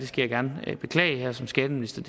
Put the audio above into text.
skal gerne beklage som skatteminister